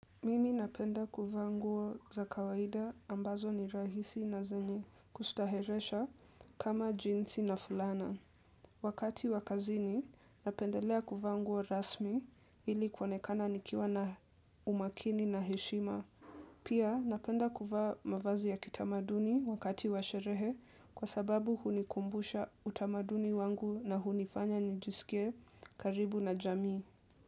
Mimi napenda kuva nguo za kawaida ambazo ni rahisi na zenye kustaheresha kama jinsi na fulana. Wakati wakazini napendelea kuva nguo rasmi ili kuonekana nikiwa na umakini na heshima. Pia napenda kuva mavazi ya kitamaduni wakati washerehe kwa sababu hunikumbusha utamaduni wangu na hunifanya njisikie karibu na jamii.